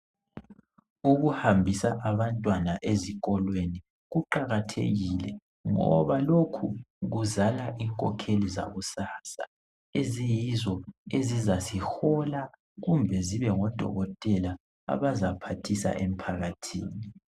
Ukuhambisa abantwana ezikolweni kuqakathekile, ngoba lokhu kuzala inkokheli zakusasa, eziyizo ezizasihola kumbe zibe ngodokotela abazaphathisa emphakathini.